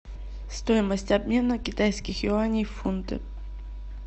стоимость обмена китайских юаней в фунты